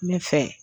N bɛ fɛ